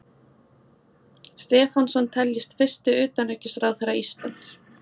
Stefánsson teljist fyrsti utanríkisráðherra Íslands.